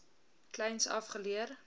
kleins af geleer